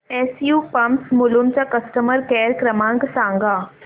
SU pumps Mulund चा customer care क्रमांक सांगा